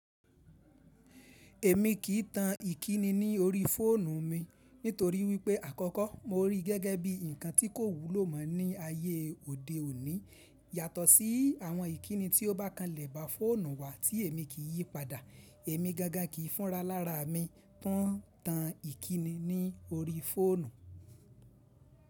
Èmi kì í tan ìkíni ní orí fóònù mi nítorí wípé àkọ́kọ́ mo rí i gẹ́gẹ́ bí ǹkan tí kò wúlò mọ́ ní ayé òde òní yàtọ̀ sí àwọn ìkíni tí ó bá kan lẹ̀ bá fóònù wa tí èmi kì í yí padà. Èmi gàngàn kì í fúnra lára mi tán tan ìkíni ní orí fóònù.